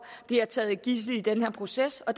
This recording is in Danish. bliver taget som gidsel i den her proces og